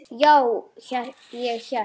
En ég er ekki svona.